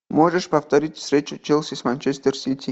можешь повторить встречу челси с манчестер сити